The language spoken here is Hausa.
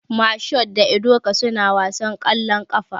Mashood da Ebuka suna wasan ƙwallon ƙafa.